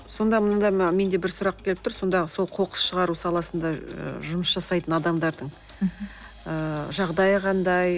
сонда мұнда менде бір сұрақ келіп тұр сонда сол қоқыс шығару саласында ы жұмыс жасайтын адамдардың мхм ыыы жағдайы қандай